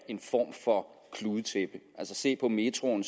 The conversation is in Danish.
en form for kludetæppe altså se på metroen